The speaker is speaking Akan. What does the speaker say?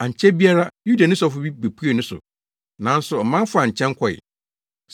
Ankyɛ biara, Yudani sɔfo bi bepuee ne so, nanso ɔman faa nkyɛn kɔe.